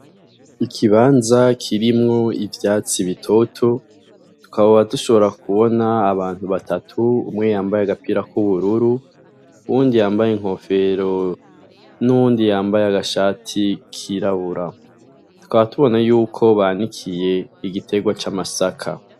Ikabanza kirimwo ivyatsi bitoto, tukaba dushobora kubona abantu batatu, umwe yambaye agapira kubururu, uwundi yambaye inkofero, n'uwundi yambaye agashati kirabura, tukaba tubona yuko banikiye igitegwa c'amasaka.